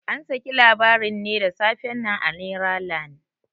An saki labarin ne da safe nan a neralan.